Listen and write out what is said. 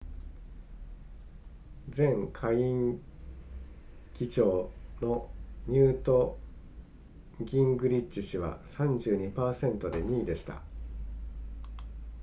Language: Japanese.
前下院議長のニュートギングリッチ氏は 32% で2位でした